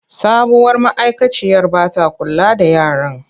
Sabuwar ma’aikaciyar ba ta kula da yaran.